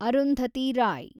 Arundhati Roy